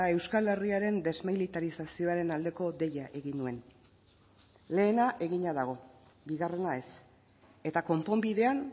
euskal herriaren desmilitarizazioaren aldeko deia egin nuen lehena egina dago bigarrena ez eta konponbidean